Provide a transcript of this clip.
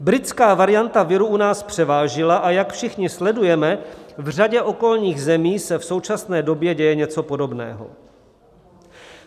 Britská varianta viru u nás převážila, a jak všichni sledujeme, v řadě okolních zemí se v současné době děje něco podobného.